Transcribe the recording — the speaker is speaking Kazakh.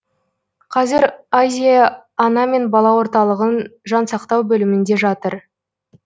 қазір айзия ана мен бала орталығының жансақтау бөлімінде жатыр